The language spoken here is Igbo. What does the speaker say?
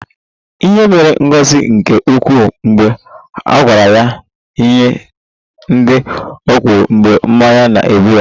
Ihere mere Ngozi nke ukwuu mgbe a gwara ya ihe ndị o kwuru mgbe mmanya na-egbu ya